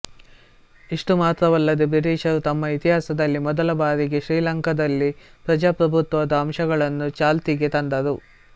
ಇಷ್ಟು ಮಾತ್ರವಲ್ಲದೆ ಬ್ರಿಟಿಷರು ತಮ್ಮ ಇತಿಹಾಸದಲ್ಲೇ ಮೊದಲ ಬಾರಿಗೆ ಶ್ರೀಲಂಕಾದಲ್ಲಿ ಪ್ರಜಾಪ್ರಭುತ್ವದ ಅಂಶಗಳನ್ನು ಚಾಲ್ತಿಗೆ ತಂದರು